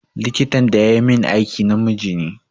Likitan da yayi min aiki namiji ne.